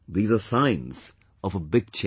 These are signs of a big change